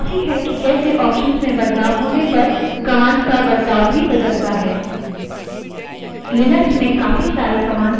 इस समय यह समझना काफी है कि कैसे options में बदलाव होने पर command का बर्ताव बदलता है